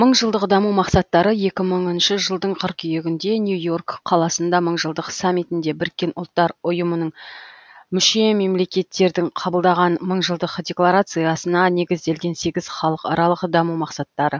мыңжылдық даму мақсаттары екі мыңыншы жылдың қыркүйегінде нью йорк қаласында мыңжылдық саммитінде біріккен ұлттар ұйымының мүше мемлекеттердің қабылдаған мыңжылдық декларациясына негізделген сегіз халықаралық даму мақсаттары